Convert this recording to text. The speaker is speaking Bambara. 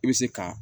I bɛ se ka